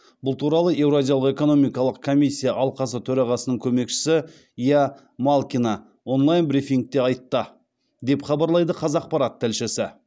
бұл туралы еуразиялық экономикалық комиссия алқасы төрағасының көмекшісі ия малкина онлайн брифингіде айтты деп хабарлайды қазақпарат тілшісі